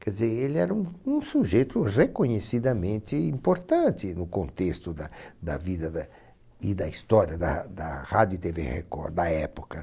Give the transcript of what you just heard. Quer dizer, ele era um um sujeito reconhecidamente importante no contexto da da vida da e da história da da rádio e Tevê Record da época.